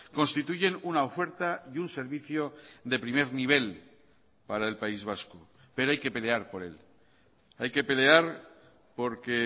constituyen una oferta y un servicio de primer nivel para el país vasco pero hay que pelear por él hay que pelear porque